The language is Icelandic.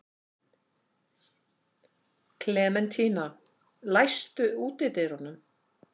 Klementína, læstu útidyrunum.